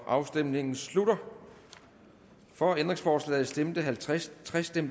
afstemningen slutter for ændringsforslaget stemte halvtreds